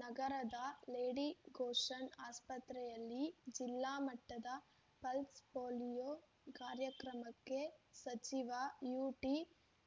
ನಗರದ ಲೇಡಿಗೋಶನ್ ಆಸ್ಪತ್ರೆಯಲ್ಲಿ ಜಿಲ್ಲಾ ಮಟ್ಟದ ಪಲ್ಸ್ ಪೋಲಿಯೊ ಕಾರ್ಯಕ್ರಮಕ್ಕೆ ಸಚಿವ ಯುಟಿ